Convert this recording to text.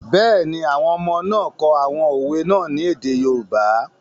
Bẹ́ẹ̀ni, àwọn ọmọ náà kọ àwọn òwe náà ní èdè yoòbá